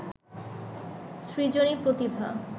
সৃজনী প্রতিভা